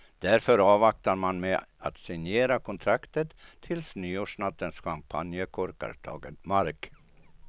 Därför avvaktar man med att signera kontraktet tills nyårsnattens champagnekorkar tagit mark.